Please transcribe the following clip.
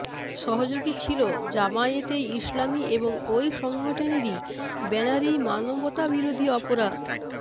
সহযোগী ছিল জামায়াতে ইসলামী এবং ওই সংগঠনের ব্যানারেই মানবতাবিরোধী অপরাধ